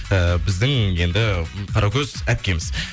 ііі біздің енді қаракөз әпкеміз